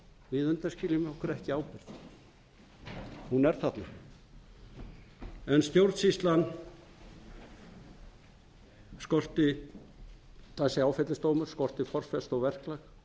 við undanskiljum okkur ekki ábyrgð hún er þarna en stjórnsýslan það er þessi áfellisdómur skortir formfestu og verklag